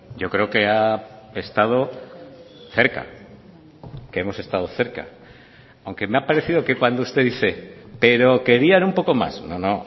yo creo que ha estado cerca que hemos estado cerca aunque me ha parecido que cuando usted dice pero querían un poco más no no